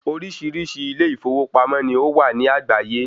Oríṣiríṣi ilé ìfowópamọ́ ni ó wà ní àgbáyé.